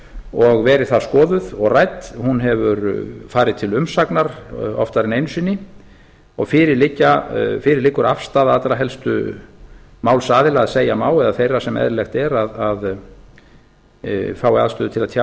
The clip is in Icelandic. og verið þar skoðuð og rædd hún hefur farið til umsagnar oftar en einu sinni og fyrir liggur afstaða allra helstu málsaðila að segja má eða þeirra sem eðlilegt er að fái aðstöðu til að tjá